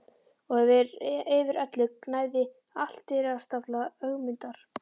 Og yfir öllu gnæfði altaristafla Ögmundar.